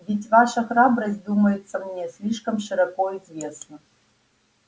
ведь ваша храбрость думается мне слишком широко известна